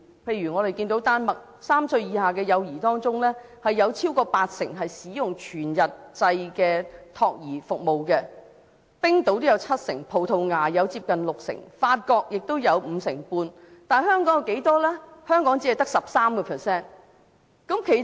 例如在丹麥 ，3 歲以下的幼兒當中有超過八成使用全日制的託兒服務、冰島也有七成、葡萄牙有接近六成、法國有五成半，但香港只有 13%。